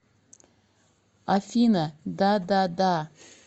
афина дадада